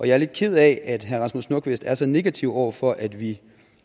jeg lidt ked af at herre rasmus nordqvist er så negativ over for at vi